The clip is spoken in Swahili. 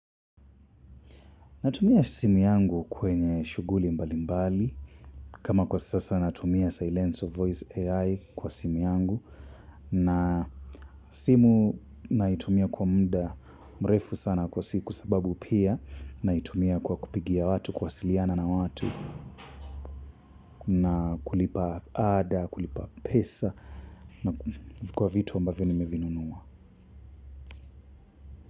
Natumia simu yangu kwenye shuguli mbali mbali kama kwa sasa natumia silence of voice AI kwa simu yangu na simu naitumia kwa muda mrefu sana kwa siku sababu pia naitumia kwa kupigia watu kuwasiliana na watu na kulipa ada kulipa pesa na kwa vitu ambavyo nimevinunua.